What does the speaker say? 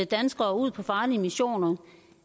danskere ud på farlige missioner